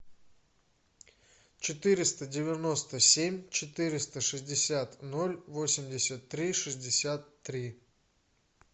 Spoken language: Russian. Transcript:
четыреста девяносто семь четыреста шестьдесят ноль восемьдесят три шестьдесят три